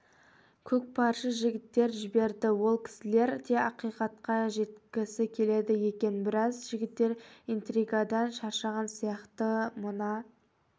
көкпаршы жігіттер жіберді ол кісілер де ақиқатқа жеткісі келеді екен біраз жігіттер интригадан шаршаған сияқты мына